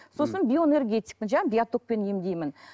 сосын биоэнергетикпін жаңа биотокпен емдеймін